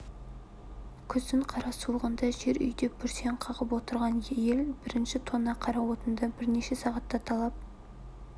күздің қара суығында жер үйде бүрсең қағып отырған ел бірінші тонна қара отынды бірнеше сағатта талап